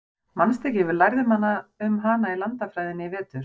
Manstu ekki, við lærðum um hana í landafræðinni í vetur?